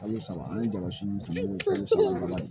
Kalo saba an ye jama siri ani sirilan